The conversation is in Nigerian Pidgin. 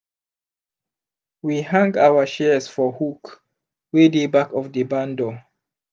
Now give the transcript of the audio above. we hang our shears for hook wey dey back of the barn door.